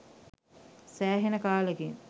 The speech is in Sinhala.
සෑහෙන කාලෙකින්